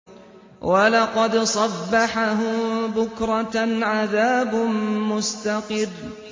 وَلَقَدْ صَبَّحَهُم بُكْرَةً عَذَابٌ مُّسْتَقِرٌّ